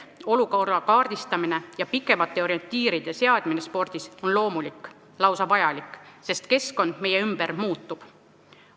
Olukorra selge kaardistamine ja pikemate orientiiride seadmine spordis on loomulik, lausa vajalik, sest keskkond meie ümber muutub.